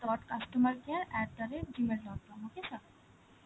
dot customer care at the rate gmail dot com, okay sir?